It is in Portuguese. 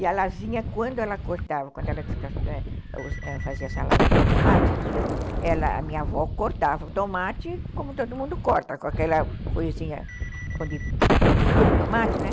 E ela vinha, quando ela cortava, quando ela fazia salada de tomate, a minha avó cortava o tomate, como todo mundo corta, com aquela coisinha onde pendura o tomate, né?